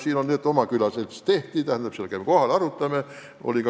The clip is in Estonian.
Meil tehti oma külaselts, on ka külavanem ja me käime seal kohal ja arutame asju.